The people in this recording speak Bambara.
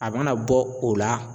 A mana bɔ o la